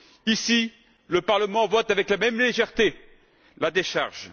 Ici, le Parlement vote avec la même légèreté la décharge.